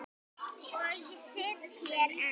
Og ég sit hér enn.